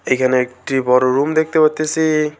এইখানে একটি বড় রুম দেখতে পারতেসি।